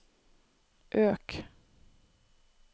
øk